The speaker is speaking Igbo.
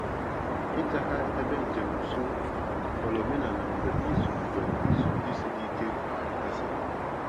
Ịga ha ebe njem nsọ ghọrọ omenala mgbe izu mgbe izu ndị siri ike gasịrị.